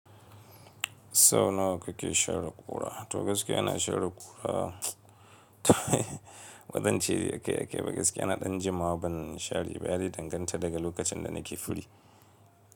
So nawa kake share ƙura? To gaskiya ina share ƙura, bazance akai-akai ba, gaskiya ina ɗan jimawa ban share, ya dai danganta daga lokacin da nake free.